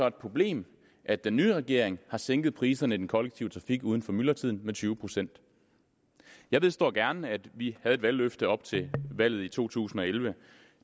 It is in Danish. et problem at den nye regering har sænket priserne i den kollektive trafik uden for myldretiden med tyve procent jeg vedstår gerne at vi havde et valgløfte op til valget i to tusind og elleve